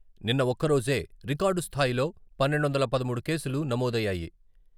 నిన్న ఒక్క రోజే రికార్డు స్థాయిలో పన్నెండు వందల పదమూడు కేసులు నమోదయ్యాయి.